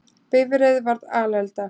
Bifreið varð alelda